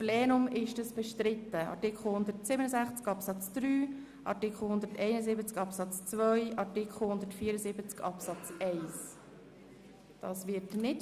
Sie haben die Minderheitsanträge der FiKo zu Artikel 42 Absatz 1 und 2 abgelehnt.